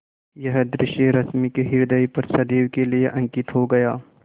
यह दृश्य रश्मि के ह्रदय पर सदैव के लिए अंकित हो गया